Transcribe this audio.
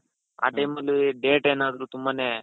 ಆ time ಅಲ್ಲಿ date ಏನಾದ್ರು ತುಂಬಾನೇ,